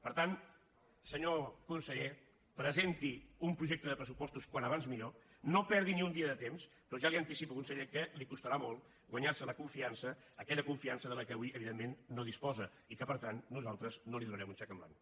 per tant senyor conseller presenti un projecte de pressupostos com abans millor no perdi ni un dia de temps però ja li anticipo conseller que li costarà molt guanyar se la confiança aquella confiança de la qual avui evidentment no disposa i que per tant nosaltres no li donarem un xec en blanc